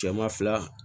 Cɛman fila